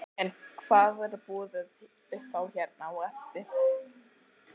En hvað verður boðið upp á hérna á eftir?